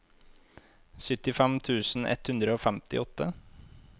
syttifem tusen ett hundre og femtiåtte